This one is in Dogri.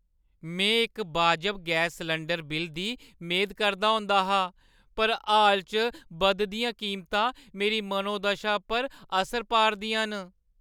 में इक बाजब गैस सलैंडर बिल्लै दी मेद करदा होंदा हा, पर हाल च बधदियां कीमतां मेरी मनोदशा पर असर पा 'रदियां न।